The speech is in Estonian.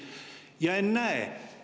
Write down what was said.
Ja ennäe!